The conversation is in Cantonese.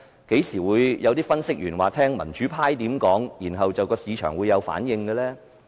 何時會有分析員說會聽民主派怎樣說，然後市場會有反應？